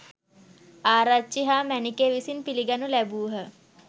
ආරච්චි හා මැණිකේ විසින් පිළිගනු ලැබූහ.